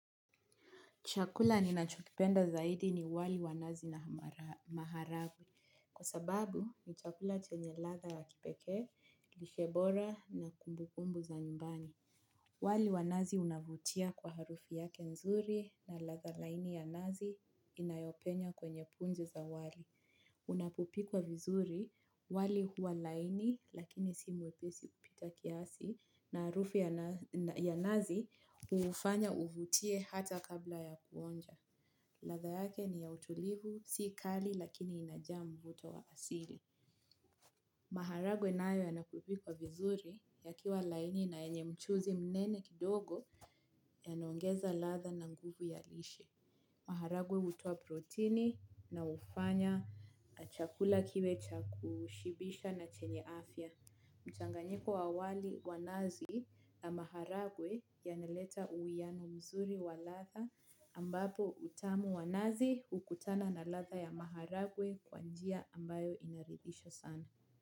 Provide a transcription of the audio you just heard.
Chakula ninacho kipenda zaidi ni wali wa nazi na maharagwe. Kwa sababu ni chakula chenye ladha ya kipekee, lishe bora na kumbukumbu za nyumbani. Wali wa nazi unavutia kwa harufu yake nzuri na latha laini ya nazi inayopenya kwenye punje za wali. Unapopikwa vizuri wali huwa laini lakini si mwepesi kupita kiasi na arufu ya nazi ufanya uvutie hata kabla ya kuonja. Latha yake ni ya utulivu, si kali lakini inajaa mvuto wa asili. Maharagwe nayo yanapopikwa vizuri yakiwa laini na yenye mchuzi mnene kidogo yanaongeza latha na nguvu ya lishe. Maharagwe utuwa protini na ufanya chakula kiwe cha kushibisha na chenye afya. Mchanganyiko wa wali wa nazi na maharagwe yaneleta uiano mzuri wa latha ambapo utamu wa nazi ukutana na latha ya maharagwe kwa njia ambayo inaridhisha sana.